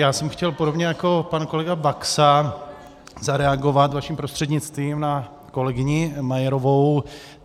Já jsem chtěl podobně jako pan kolega Baxa zareagovat vaším prostřednictvím na kolegyni Majerovou.